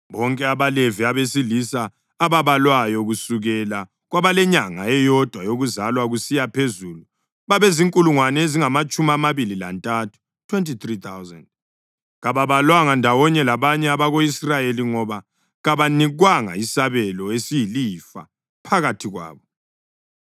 Bonke abaLevi abesilisa ababalwayo kusukela kwabalenyanga eyodwa yokuzalwa kusiya phezulu babezinkulungwane ezingamatshumi amabili lantathu (23,000). Kababalwanga ndawonye labanye abako-Israyeli ngoba kabanikwanga isabelo esiyilifa phakathi kwabo.